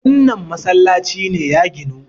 wannan masallaci ne ya ginu!